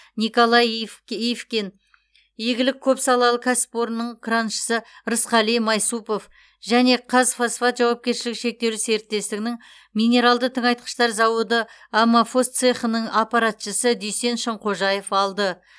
николай ив ивкин игілік көпсалалы кәсіпорнының краншысы рысқали майсупов және қазфосфат жауапкершілігі шектеулі серіктестігінің минералды тыңайтқыштар зауыты аммофос цехының аппаратшысы дүйсен шынқожаев алды